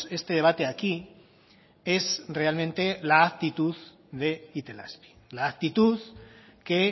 este debate aquí es realmente la actitud de itelazpi la actitud que